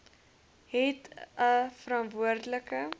het a verantwoordelik